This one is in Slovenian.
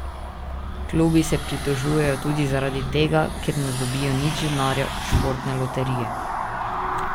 Klubi se pritožujejo tudi zaradi tega, ker ne dobijo nič denarja od Športne loterije.